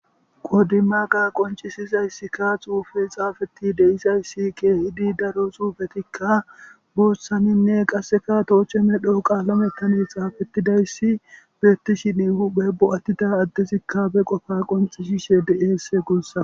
qodima ga qoncisizayssikka xuufe xaafeti de7izayssike idi daro suufetikka buossaninne qasseka tooche medho qaalame tane xaafetidayssi beettishini huphe bo7attida addesikka be qofa qoncishishe de7esse guussa.